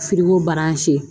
baransi